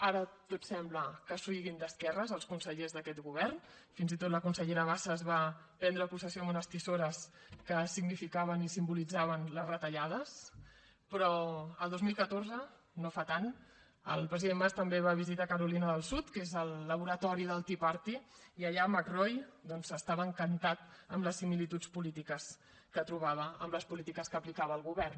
ara tots sembla que siguin d’esquerres els consellers d’aquest govern fins i tot la consellera bassa va prendre possessió amb unes tisores que significaven i simbolitzaven les retallades però el dos mil catorze no fa tant el president mas també va visitar carolina del sud que és el laboratori del tea party i allà mccrory doncs estava encantat amb les similituds polítiques que trobava amb les polítiques que aplicava el govern